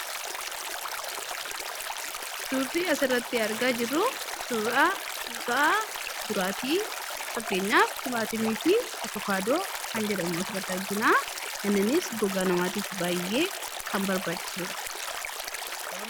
Suurri asirratti argaa jirru suuraa kuusaa muduraati. Muduraaleen kunis abokaadoo fi timaatimadha. Muduraaleen kunis gogaa namaaf baay'ee barbaachisa.